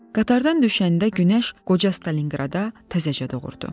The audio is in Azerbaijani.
Qatardan düşəndə günəş qoca Stalinqradda təzəcə doğurdu.